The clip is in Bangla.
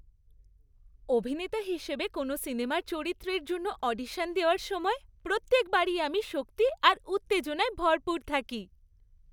অভিনেতা হিসেবে কোনও সিনেমার চরিত্রের জন্য অডিশন দেওয়ার সময় প্রত্যেকবারই আমি শক্তি আর উত্তেজনায় ভরপুর থাকি।